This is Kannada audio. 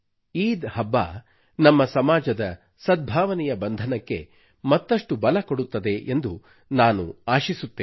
ಈದ್ ಹಬ್ಬವು ನಮ್ಮ ಸಮಾಜದ ಸದ್ಭಾವನೆಯ ಬಂಧನಕ್ಕೆ ಮತ್ತಷ್ಟು ಬಲ ಕೊಡುತ್ತದೆ ಎಂದು ನಾನು ಆಶಿಸುತ್ತೇನೆ